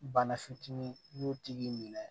Bana fitinin n'u tigi minɛ